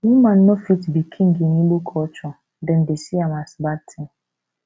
woman no fit be king in igbo culture dem dey see am as bad thing